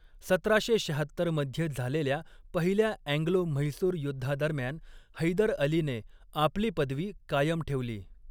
सतराशे शहात्तर मध्ये झालेल्या पहिल्या अँग्लो म्हैसूर युद्धादरम्यान हैदर अलीने आपली पदवी कायम ठेवली.